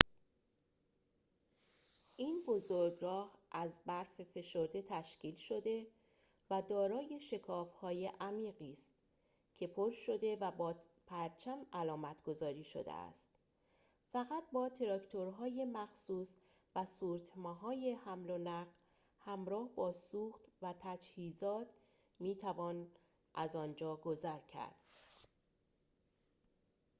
این بزرگراه از برف فشرده تشکیل شده و دارای شکاف‌های عمیقی است که پر شده و با پرچم علامتگذاری شده است فقط با تراکتورهای مخصوص و سورتمه‌های حمل و نقل همراه با سوخت و تجهیزات می‌توان از آنجا گذر کرد